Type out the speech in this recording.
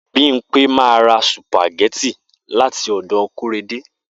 Bimpe ma ra sùpàgẹ́tì láti ọ̀dọ̀ Kóredé